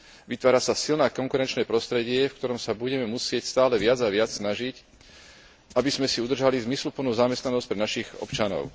Vytvára sa silné konkurenčné prostredie, v ktorom sa budeme musieť stále viac a viac snažiť, aby sme si udržali zmysluplnú zamestnanosť pre našich občanov.